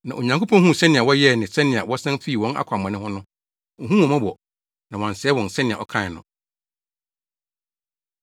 Na Onyankopɔn huu sɛnea wɔyɛɛ ne sɛnea wɔsan fii wɔn akwammɔne ho no, ohuu wɔn mmɔbɔ, na wansɛe wɔn sɛnea ɔkae no.